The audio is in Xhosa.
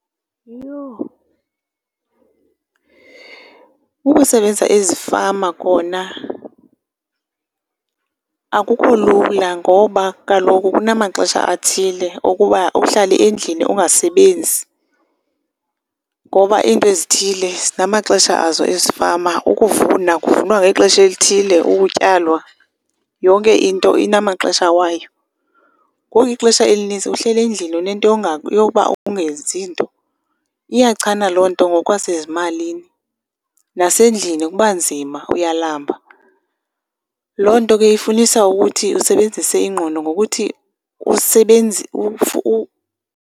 Yho. Ukusebenza ezifama kona akukho lula ngoba kaloku kunamaxesha athile okuba uhlale endlini ungasebenzi. Ngoba iinto ezithile zinamaxesha azo ezifama, ukuvuna kuvunwa ngexesha elithile, ukutyalwa, yonke into inamaxesha wayo. Ngoku ixesha elinintsi uhlele ndlini unento yoba ungenzi nto. Iyachana loo nto ngokwasezimalini, nasendlini kuba nzima uyalamba. Loo nto ke ifunisa ukuthi usebenzise ingqondo ngokuthi